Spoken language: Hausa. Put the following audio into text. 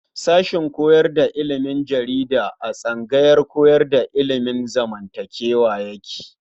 Sashen koyar da ilimin jarida a tsangayar koyar da ilimin zamantakewa yake.